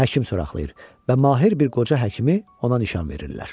Həkim soraqlayır və Mahir bir qoca həkimi ona nişan verirlər.